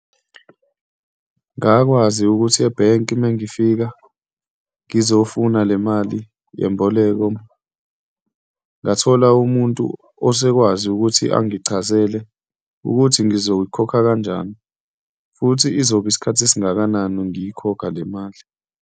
Ngakwazi ukuthi ebhenki uma ngifika ngizofuna le mali yemboleko. Ngathola umuntu osekwazi ukuthi angichazele ukuthi ngizoyikhokha kanjani futhi izoba isikhathi esingakanani ngiyikhokha le mali.